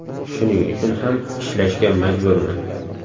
Shuning uchun ham ishlashga majburman.